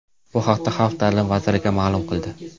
Bu haqda Xalq ta’limi vazirligi ma’lum qildi .